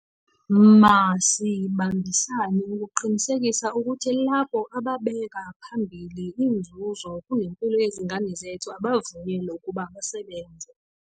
Masibambisane ukuqinisekisa ukuthi labo ababeka phambili inzuzo kunempilo yezingane zethu abavunyelwa ukuba basebenze.